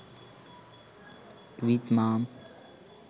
with mom